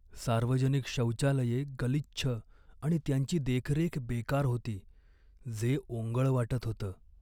सार्वजनिक शौचालये गलिच्छ आणि त्यांची देखरेख बेकार होती, जे ओंगळ वाटत होतं.